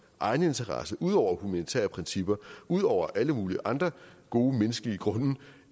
egeninteresse ud over humanitære principper ud over alle mulige andre gode menneskelige grunde